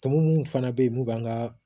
Tɔmɔ mun fana be yen mun b'an ka